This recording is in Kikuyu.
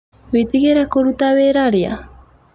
Witigire kuruta wĩra rĩa?